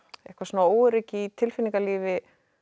eitthvað svona óöryggi í tilfinningalífi